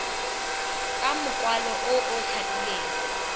ka mokwalo o o tlhapileng